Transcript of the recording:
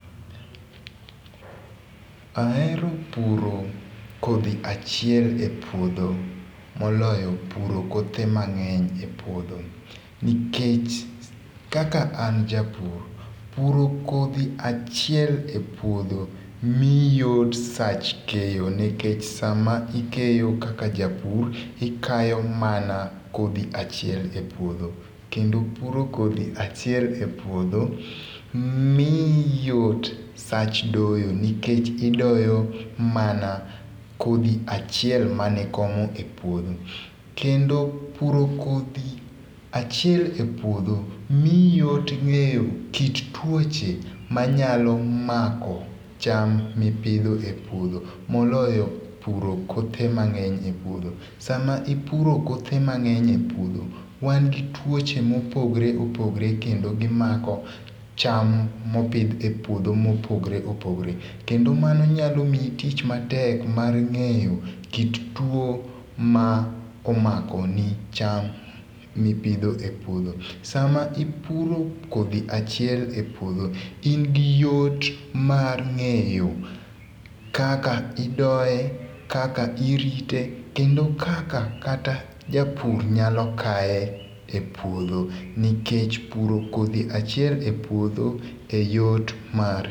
ahero puro kodhi achiel e puodho moloyo puro kothe mang'eny e puodho nikech kaka an japur puro kodhi achiel e puodho miyi yot sach keyo nikech sama ikeyo kaka japur ikayo mana kodhi achiel e puodho kendo puro kodhi achiel e puodho miyi yot sach doyo nikech idoyo mana kodhi achiel manikomo e puodho kendo puro kodhi achiel e puodho miyi yot ng'eyo kit tuoche manyalo mako cham mipidho e puodho moloyo puro kothe mang'eny e puodho sama ipuro kothe mang'eny e puodho wan gi tuoche mopogre opogre kendo gimako cham mopidh e puodho mopogre opogre kendo mano nyalo miyi tich matek mar ng'eyo kit tuo ma omako ni tuo ma omako ni cham mipidho e puodho sama ipuro kodhi achiel e puodho in gi yot mar ng'eyo kaka idoye, kaka irite, kendo kaka kata japur nyalo kae e puodho nikech puro kodhi achiel e puodho e yot mar